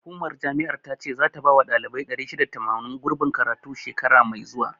Hukumar jami'ar ta ce zata bawa ɗalibai 680, gurbin karatu, shekara mai zuwa.